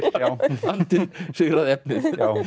andinn sigraði efnið